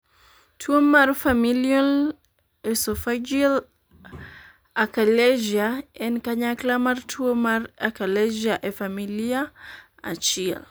tuo mar Familial esophageal achalasia en kanyakla mar tuo mar achalasia e familia achiel